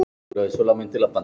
Ég var að lýsa Þuru.